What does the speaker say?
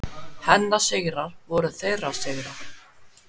Hennar sigrar voru þeirra sigrar.